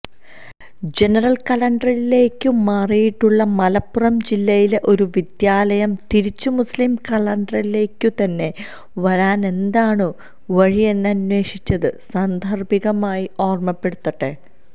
ജനറല്കലണ്ടറിലേയ്ക്കു മാറിയിട്ടുള്ള മലപ്പുറം ജില്ലയിലെ ഒരു വിദ്യാലയം തിരിച്ചു മുസ്ലിം കലണ്ടറിലേയ്ക്കുതന്നെ വരാന് എന്താണു വഴിയെന്നന്വേഷിച്ചത് സാന്ദര്ഭികമായി ഓര്മപ്പെടുത്തട്ടെ